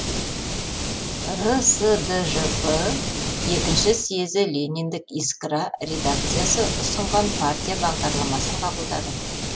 рсджп екінші съезі лениндік искра редакциясы ұсынған партия бағдарламасын қабылдады